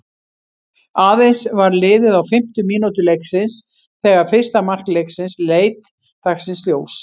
Aðeins var liðið á fimmtu mínútu leiksins þegar fyrsta mark leiksins leit dagsins ljós.